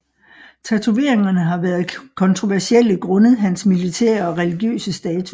Tatoveringerne har været kontroversielle grundet hans militære og religiøse status